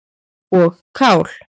og kál.